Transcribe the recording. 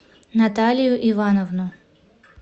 наталию ивановну